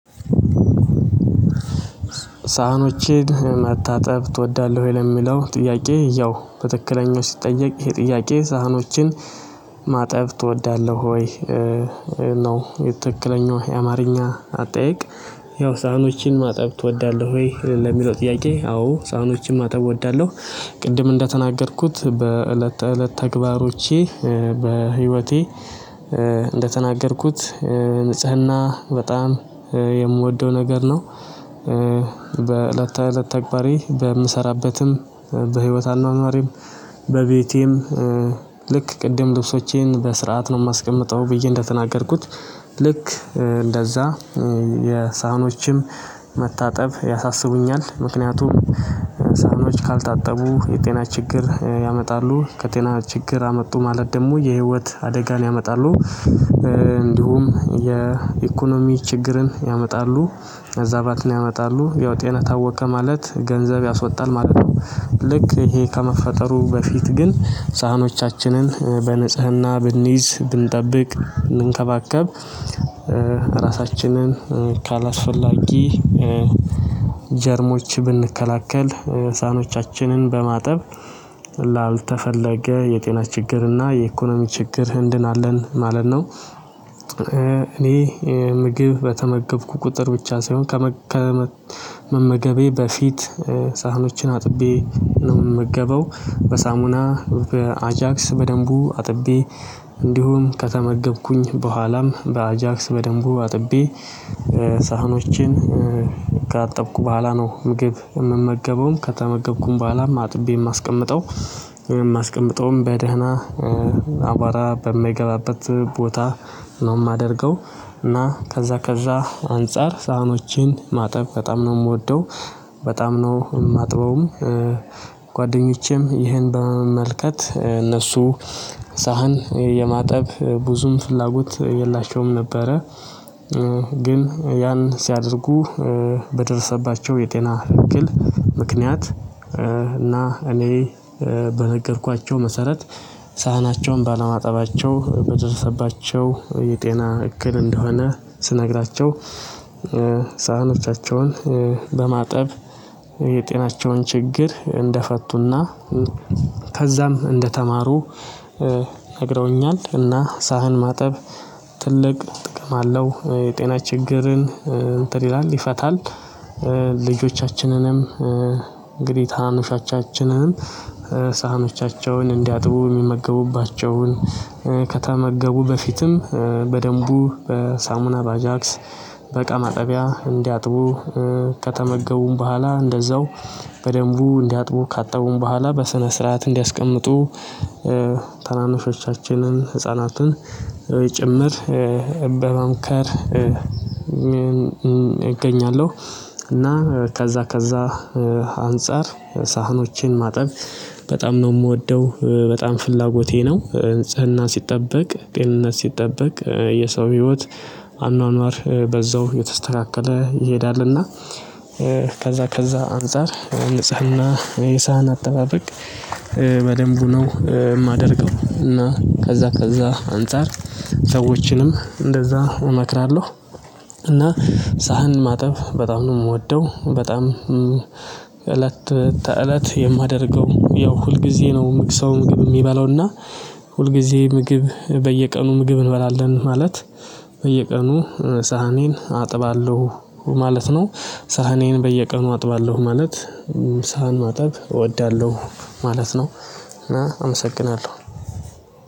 ሳህኖችን መታጠብ ትወዳለህ ወይ ለሚለው ጥያቄ? ያው በትክክለኛው ሲጠየቅ ይሄ ጥያቄ ሳህኖችን ማጠብ ትወዳለህ ወይ ነው ትክለኛው የአማርኛ አጠያየቅ? ያው ሳህኖችን ማጠብ ትወዳለህ ወይ ለሚለው ጥያቄ አዎ ሳህኖችን ማጠብ እወዳለሁ። ቅድም እንደተናገርኩት በእለት እለት ተግባሮቼ በህይወቴ እንደተናገርኩት ንጽህና በጣም የምወደው ነገር ነው። በእለት ተእለት ተግባሬ በምሰራበትም በህይወት አኗኗሬም በቤቴም ልክ ቅድም ልብሶቼን በስርዓት ነው የማስቀምጠው ብዬ እንደተናገርኩት ልክ እንደዛ የሳህኖችም መታጠብ ያሳስቡኛል ምክንያቱም ሳህኖች ካልታጠቡ የጤና ችግር ያመጣሉ ከጤና ችግር አመጡ ማለት ደግሞ የህይወት አደጋን ያመጣሉ። እንዲሁም የኢኮኖሚ ችግርን ያመጣሉ አዛባትን ያመጣሉ ያው ጤና ታወከ ማለት ገንዘብ ያስወጣል ማለት ነው። ልክ ይሄ ከመፈጠሩ በፊት ግን ሳህኖቻችንን በንጽህና ብንይዝ ብንጠብቅ ብንከባከብ እራሳችንን ካላስፈላጊ ጀርሞች ብንከላከል ሳኖቻችንን በማጠብ ል ላልተፈለገ የጤና ችግር እና የኢኮኖሚ ችግር እንድናለን ማለት ነው። እኔ ምግብ በተመገብኩ ቁጥር ብቻ ሳይሆን ከመግ ከመመገቤ በፊት ሳህኖችን አጥቤ ነው የምገበው። በሳሙና በአጃክስ በደንቡ አጥቤ እንዲሁም ከተመገብኩኝ በኋላም በአጃክስ በደንቡ አጥቤ። ሳህኖችን ካጠብኩ በኋላ ነው ምግብ የምመገበውም ከተመገብኩኝ በኋላም አጥቤ የማስቀምጠው የማስቀምጠውም በደህና አቧራ በማይገባበት ቦታ ነው የማደርገው እና ከዛ ከዛ አንፃር ሳህኖቼን ማጠብ በጣም ነው የምወደው በጣም ነው የማጥበውም። ጓደኞቼም ይሄን በመመልከት እነሱ ሳህን የማጠብ ብዙም ፍላጎት የላቸውም ነበረ። ግን ያን ሲያደርጉ በደረሰባቸው የጤና እክል ምክንያት እና እኔ በነገርኳቸው መሰረት ሳህናቸውን ባለማጠባቸው በደረሰባቸው የጤና እክል እንደሆነ ስነግራቸው ሳህኖቻቸውን በማጠብ የጤናቸውን ችግር እንደፈቱና ከዛም እንደተማሩ ነግረውኛል። እና ሳህን ማጠብ ትልቅ ጥቅም አለው የጤና ችግርን እንትን ይላል ይፈታል። ልጆቻችንንም እንግዲህ ታናናሾቻችንንም ሳህኖቻቸውን እንዲያጥቡ የሚመገቡባቸውን ከተመገቡ በፊትም በደንቡ በሳሙና ባጃክስ በቃማጠቢያ እንዲያጥቡ ከተመገቡም በኋላ እንደዛው በደንቡ እንዲያጥቡ ካጠቡም በኋላ በስነ ስርዓት እንዲያስቀምጡ ታናንሾቻችንን ህፃናትን ጭምር በመምከር እገኛለሁ። እና ከዛ ከዛ አንፃር ሳህኖችን ማጠብ በጣም ነው የምወደው በጣም ፍላጎቴ ነው። ንጽህና ሲጠበቅ ጤንነት ሲጠበቅ የሰው ህይወት አኗኗር በዛው እየተስተካከለ ይሄዳልና። ከዛ ከዛ አንፃር ንጽህና የሳህን አጠባበቅ በደንቡ ነው የማደርገው። እና ከዛ ከዛ አንፃር ሰዎችንም እንደዛ እመክራለሁ። እና ሳህን ማጠብ በጣም ነው የምወደው በጣም እለት ተእለት የማደርገው ያው ሁልጊዜ ነው ሰው ምግብ የሚበላውና ሁልጊዜ ምግብ በየቀኑ ምግብ እንበላለን ማለት በየቀኑ ሳህኔን አጥባለሁ ማለት ነው። ሳህኔን በየቀኑ አጥባለሁ ማለት ሳህን ማጠብ እወዳለሁ ማለት ነው። እና አመሰግናለሁ